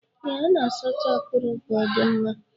Ee, a na-asacha akuru ka ọ dị mma.